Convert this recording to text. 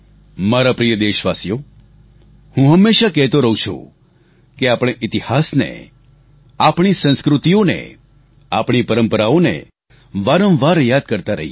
મારા પ્રિય દેશવાસીઓ હું હંમેશા કહેતો રહુ છું કે આપણે ઈતિહાસને આપણી સંસ્કૃતિઓને આપણી પરંપરાઓને વારંવાર યાદ કરતાં રહીએ